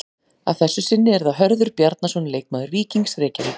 Að þessu sinni er það Hörður Bjarnason leikmaður Víkings Reykjavík.